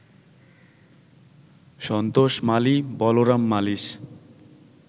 Santosh Mali, Balaram মালীস